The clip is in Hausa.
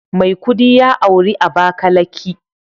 Maikudi ya auri Abakalaki